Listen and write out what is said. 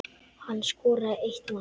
Hann skoraði eitt mark.